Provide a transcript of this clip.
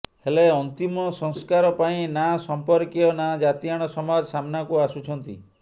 ହେଲେ ଅନ୍ତିମ ସଂସ୍କାର ପାଇଁ ନା ସଂପର୍କୀୟ ନା ଜାତିଆଣ ସମାଜ ସାମ୍ନାକୁ ଆସୁଛନ୍ତି